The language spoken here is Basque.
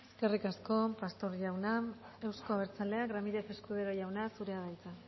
eskerrik asko pastos jauna euzko abertzaleak ramírez escudero jauna zurea da hitza